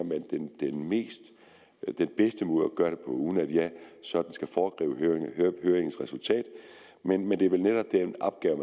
den bedste måde at gøre det på uden at jeg sådan skal foregribe høringens resultat men men det er vel netop den opgave